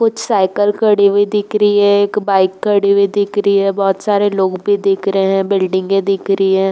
कुछ साइकिल खड़ी हुई दिख रही हैं। एक बाइक खड़ी हुई दिख रही हैं। बोहोत सारे लोग भी दिख रहे हैं। बिल्डिंगे